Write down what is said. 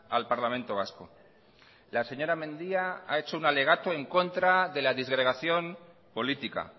al parlamento vasco la señora mendia ha hecho un alegato en contra de la disgregación política